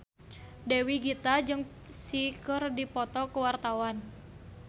Dewi Gita jeung Psy keur dipoto ku wartawan